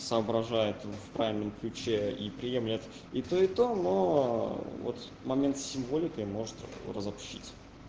соображает в правильном ключе и приемлет и то и то но вот момент с символикой может разобщить